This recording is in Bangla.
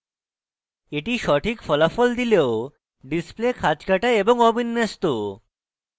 এটি সঠিক ফলাফল দিলেও display খাঁজকাটা এবং অবিন্যস্ত